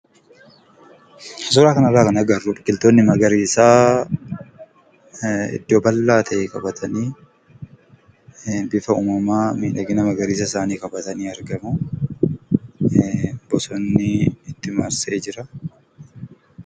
Suuraa kana irraa kan agarru biqiloonni magariisaa iddoo bal'aa ta'e qabatanii, bifa uumamaa, miidhagina magariisa isaanii qabatanii argamu. Bosonni itti marsee jira.